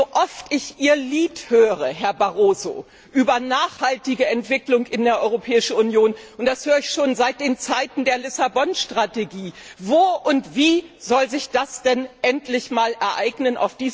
So oft ich Ihr Lied höre, Herr Barroso, über nachhaltige Entwicklung in der Europäischen Union und das höre ich schon seit den Zeiten der Lissabon Strategie frage ich mich Wo und wie soll sich das denn endlich einmal ereignen?